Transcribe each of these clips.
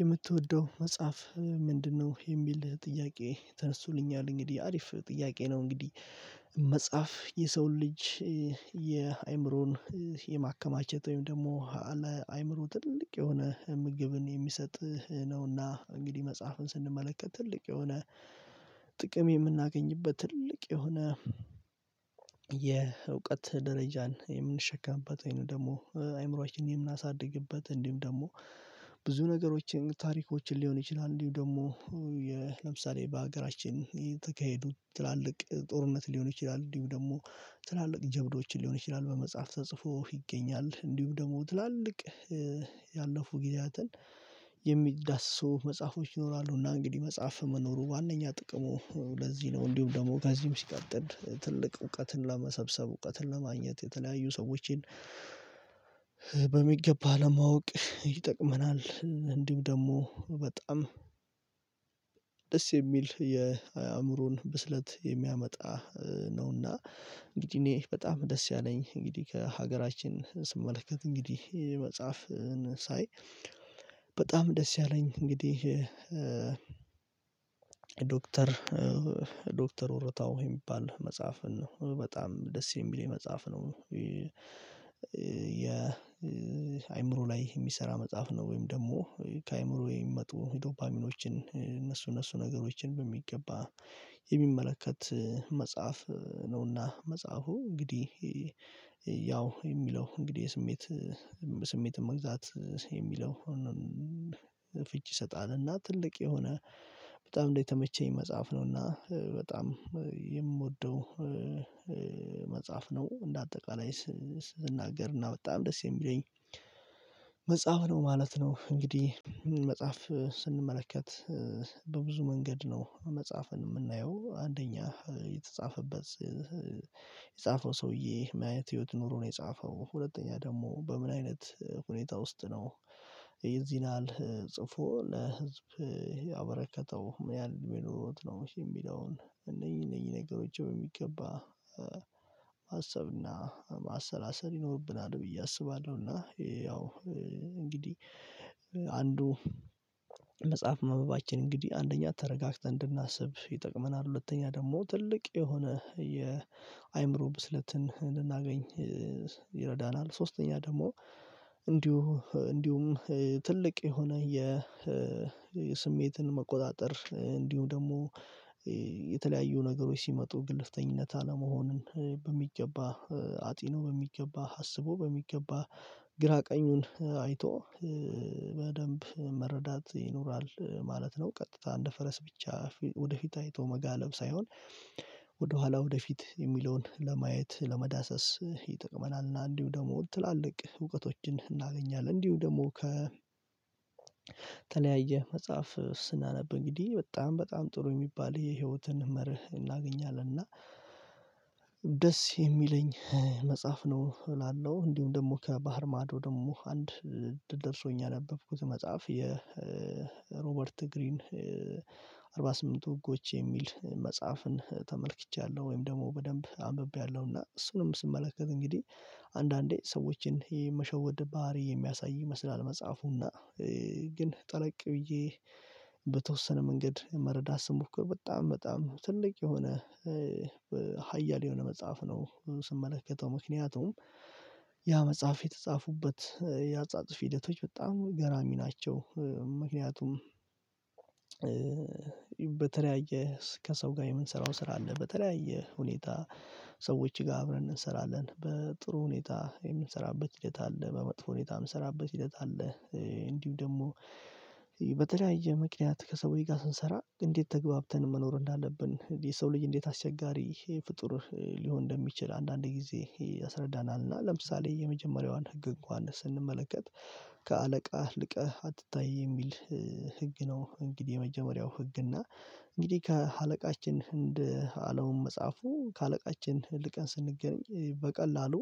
የምትወደው መጽሐፍ ምንድነው? የሚል ጥያቄ ተነስቶልኛል እንግዲህ አሪፍ ጥያቄ ነው። እንግዲህ መጽሐፍ የሰው ልጅ። የአእምሮን የማከማቸት ወይም ደግሞ አለ አይምሮ ትልቅ የሆነ ምግብን የሚሰጥ ነውና እንግዲህ መጽሐፍን ስንመለከት ትልቅ የሆነ ጥቅም የምናገኝበት ትልቅ የሆነ የእውቀት ደረጃን የምንሸከምበት ወይም ደግሞ አይምሮአችን የምናሳድግበት እንዲሁም ደግሞ ብዙ ነገሮችን ታሪኮችን ሊሆን ይችላል። እንዲሁም ደግሞ ለምሳሌ በሀገራችን የተካሄዱ ትላልቅ ጦርነት ሊሆን ይችላል እንዲሁም ደግሞ ትላልቅ ጀብዶችን ሊሆን ይችላል በመጽሐፍ ተጽፎ ይገኛል እንዲሁም ደግሞ ትላልቅ ያለፉ ጊዜያትን የሚዳስሰው መጽሐፎች ይሆናሉ። እና እንግዲህ መጽሐፍ መኖሩ ዋናኛ ጥቅሞ ለዚህ ነው እንዲሁም ደግሞ ከዚህም ሲቀጥል ትልቅ እውቀትን ለመሰብሰብ እውቀትን ለማግኘት የተለያዩ ሰዎችን በሚገባ ለማወቅ ይጠቅመናል። እንዲሁም ደግሞ በጣም ደስ የሚል የአእምሮን ብስለት የሚያመጣ ነውና። እንግዲህ እኔ በጣም ደስ ያለኝ እንግዲህ ከሀገራችን ስመለከት እንግዲህ መጽሐፍን ሳይ በጣም ደስ ያለኝ እንግዲህ ዶክተር ዶክተር ኦሮታው የሚባል መጽሐፍን ነው በጣም ደስ የሚለኝ መጽሐፍ ነው። የአይምሮ ላይ የሚሰራ መጽሐፍ ነው ወይም ደግሞ ከአይምሮ የሚመጡ ዶፓሚኖችን እነሱ እነሱ ነገሮችን በሚገባ የሚመለከት መጽሐፍ ነውና። መጽሐፉ እንግዲህ ያው የሚለው እንግዲህ የስሜት ስሜት መግዛት የሚለው ፍንጭ ይሰጣልና። ትልቅ የሆነ በጣም እንደተመቸኝ መጽሐፍ ነውና በጣም የምወደው መጽሐፍ ነው። እንደ እንደ አጠቃላይ ስናገርና በጣም ደስ የሚለኝ መጽሐፍ ነው ማለት ነው። እንግዲህ መጽሐፍ ስንመለከት በብዙ መንገድ ነው መጽሐፍን የምናየው አንደኛ የተጻፈበት የጻፈው ሰውዬ ማየት ህይወት ኑሮ ነው የጻፈው ሁለተኛ ደግሞ በምን አይነት ሁኔታ ውስጥ ነው የዚህን ያሀል ጽፎ ለህዝብ ያበረከተው ምን ያህል የሚኖረው ነው የሚለውን እነዚህ እነዚህ ነገሮች በሚገባ ማሰብና ማሰላሰል ይኖርብናል። ብዬ አስባለሁ እና ያው እንግዲህ አንዱ መጽሐፍ ማንበባችን እንግዲህ አንደኛ ተረጋግተን እንድናስብ ይጠቅመናል ሁለተኛ ደግሞ ትልቅ የሆነ የአይምሮ ብስለትን ልናገኝ ይረዳናል። ሶስተኛ ደግሞ እንዲሁ እንዲሁም ትልቅ የሆነ የስሜትን መቆጣጠር እንዲሁም ደግሞ የተለያዩ ነገሮች ሲመጡ ግልፍተኝነት አለመሆኑን በሚገባ አጢኖ በሚገባ አስቦ በሚገባ ግራ ቀኙን አይቶ በደንብ መረዳት ይኖራል ማለት ነው። ቀጥታ እንደ ፈረስ ብቻ ወደፊት አይቶ መጋለብ ሳይሆን ወደኋላ ወደፊት የሚለውን ለማየት ለመዳሰስ ይጥቅመናል። እና እንዲሁ ደግሞ ትላልቅ እውቀቶችን እናገኛለን እንዲሁ ደግሞ ከተለያየ መጽሐፍ ስናነብ እንግዲህ በጣም በጣም ጥሩ የሚባል የህይወትን መርህ እናገኛለን። እና ደስ የሚለኝ መጽሐፍ ነው እላለሁ እንዲሁ ደግሞ ከባህር ማዶ ደግሞ አንድ ደርሶኝ ያነበብኩት መጽሐፍ የሮበርት ግሪን አርባ ስምንትቱ ህጎች የሚል መጽሐፍን ተመልክቻለሁ። ወይም ደግሞ በደንብ አንብቤያለሁና እሱንም ስመለከት እንግዲ አንዳንዴ ሰዎችን የመሸወድ ባህሪ የሚያሳይ ይመስላል መጽሐፉ እና ግን ጠለቅ ብዬ በተወሰነ መንገድ መረዳት ስሞክር በጣም በጣም ትልቅ የሆነ ሀያል የሆነ መጽሐፍ ነው። ስመለከተው ምክንያቱም ያ መጽሐፍ የተጻፉበት የአጻጽፊ ሂደቶች በጣም ገራሚ ናቸው። ምክንያቱም በተለያየ ከሰው ጋር የምንሰራው ስራ አለ በተለያየ ሁኔታ ሰዎች ጋር አብረን እንሰራለን በጥሩ ሁኔታ የምንሰራበት ሂደት አለ በመጥፎ ሁኔታ የምንሰራበት ሂደት አለ። እንዲሁ ደግሞ በተለያየ ምክንያት ከሰዎች ጋር ስንሰራ እንዴት ተገብተን መኖር እንዳለብን የሰው ልጅ እንዴት አስቸጋሪ ፍጡር ሊሆን እንደሚችል አንዳንድ ጊዜ ያስረዳናል። እና ለምሳሌ የመጀመሪያዋን ህግ እንኳን ስንመለከት ከአለቃህ ልቀህ አትታይ የሚል ህግ ነው። እንግዲህ የመጀመሪያው ህግ እና እንግዲህ ከአለቃችን እንደ አለሙን መፃፉ ከአለቃችን ልቀን ስንገኝ በቀላሉ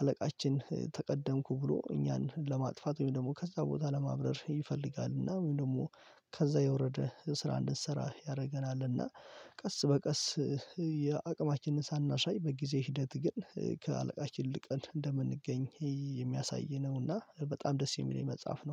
አለቃችን ተቀደምኩ ብሎ እኛን ለማጥፋት ወይም ደግሞ ከዛ ቦታ ለማብረር ይፈልጋል። እና ወይም ደግሞ ከዛ የወረደ ስራ እንድንሰራ ያደርገናል እና ቀስ በቀስ ያ አቅማችንን ሳናሳይ በጊዜ ሂደት ግን ከአለቃችን ልቀን እንደምንገኝ ይሄ የሚያሳይ ነው። እና በጣም ደስ የሚለኝ መጽሐፍ ነው